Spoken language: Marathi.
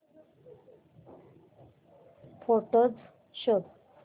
फोटोझ शोध